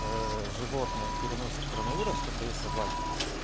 животные переносят коронавирус коты и собаки